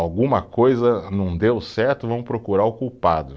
Alguma coisa não deu certo, vamos procurar o culpado.